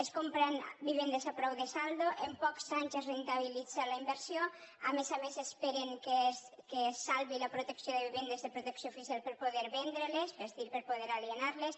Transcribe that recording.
es compren vivendes a preu de saldo en pocs anys es rendibilitza la inversió a més a més esperen que es salvi la protecció de vivendes de protecció oficial per a poder vendre les és a dir per a poder alienar les